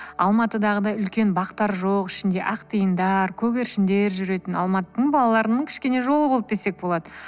алматыдағыдай үлкен бақтар жоқ ішінде ақ тиындар көгершіндер жүретін алматының балаларының кішкене жолы болды десек болады